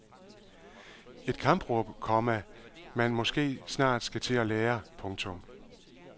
Et kampråb, komma man måske snart skal til at lære. punktum